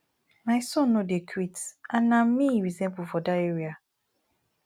my son no dey quit and na me he resemble for dat area